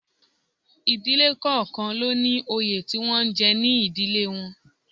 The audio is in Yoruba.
Ìdílé kọ̀ọ̀kan ló ní òye tí wọ́n ń jẹ ní ìdílé wọn